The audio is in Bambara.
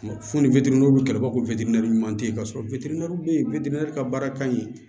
Fo ni b'a fɔ ɲuman tɛ ye ka sɔrɔ bɛ yen ka baara ka ɲi